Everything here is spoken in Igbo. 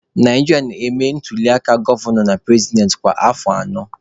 Naijiria na-eme ntuliaka gọvanọ na purezidentị kwa afọ anọ.